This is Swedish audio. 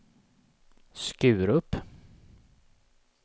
Skurup